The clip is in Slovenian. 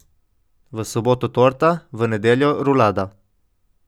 V soboto torta, v nedeljo rulada.